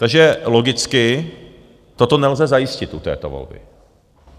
Takže logicky toto nelze zajistit u této volby.